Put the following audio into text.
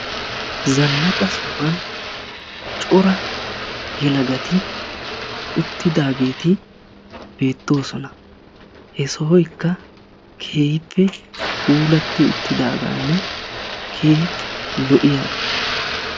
zanaqqa sohuwan cora yelagati uttidaageeti beettoosona. he sohoykka keehippe puulatti uttidaagaanne keehippe lo'iyaga.